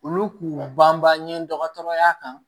Olu k'u banban ɲini dɔgɔtɔrɔya kan